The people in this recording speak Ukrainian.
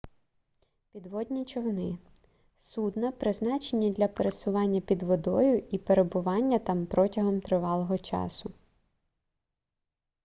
підводні човни судна призначені для пересування під водою і перебування там протягом тривалого часу